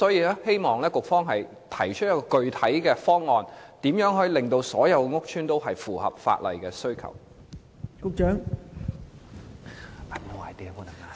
局方會否提出一個具體方案，令所有屋邨均符合法例要求？